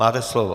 Máte slovo.